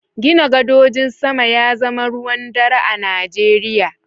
Gina gadojin sama ya zama ruwan dare a Najeriya.